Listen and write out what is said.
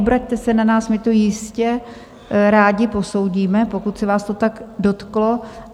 Obraťte se na nás, my to jistě rádi posoudíme, pokud se vás to tak dotklo.